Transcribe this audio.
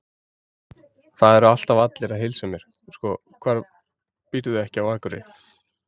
Það eru alltaf allir að heilsa mér, sko, hvað býrðu ekki á Akureyri?